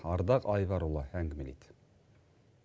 ардақ айбарұлы әңгімелейді